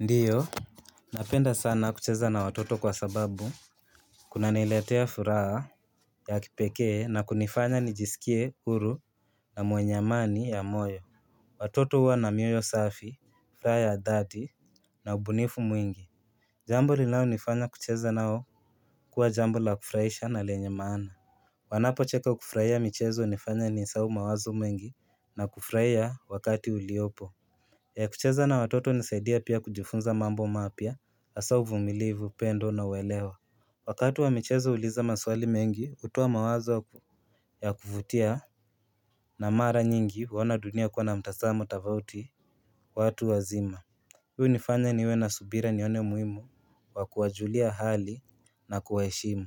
Ndiyo, napenda sana kucheza na watoto kwa sababu kunaniletea furaha ya kipekee na kunifanya nijisikie huru na mwenye amani ya moyo Watoto huwa na mioyo safi, furaha ya dhati na ubunifu mwingi Jambo linalonifanya kucheza nao huwa jambo la kufurahisha na lenye maana Wanapocheka kufurahia michezo inanifanya nisahau mawazo mwengi na kufurahia wakati uliopo, kucheza na watoto inanisaidia pia kujifunza mambo mapya hasa uvumilivu upendo na uelewa, Wakati wa michezo huuliza maswali mengi, kutoa mawazo ya kuvutia na mara nyingi huona dunia kuwa na mtazamo tofauti kwa watu wazima Hii unifanya niwe na subira nione muhimu wa kuwajulia hali na kuwaheshimu